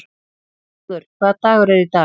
Þrúður, hvaða dagur er í dag?